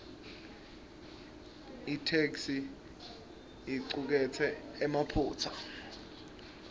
itheksthi icuketse emaphutsa